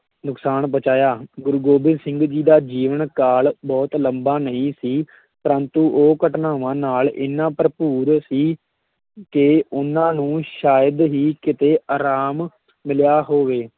ਨੁਕਸਾਨ ਪਹੁੰਚਾਇਆ, ਗੁਰੂ ਗੋਬਿੰਦ ਸਿੰਘ ਜੀ ਦਾ ਜੀਵਨ ਕਾਲ ਬਹੁਤ ਲੰਬਾ ਨਹੀਂ ਸੀ ਪ੍ਰੰਤੂ ਉਹ ਘਟਨਾਵਾਂ ਨਾਲ ਇੰਨਾ ਭਰਪੂਰ ਸੀ ਕਿ ਉਹਨਾਂ ਨੂੰ ਸ਼ਾਇਦ ਹੀ ਕਿਤੇ ਅਰਾਮ ਮਿਲਿਆ ਹੋਵੇ।